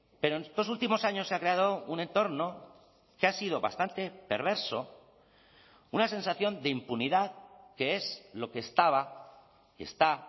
pero en estos últimos años se ha creado un entorno que ha sido bastante perverso una sensación de impunidad que es lo que estaba que está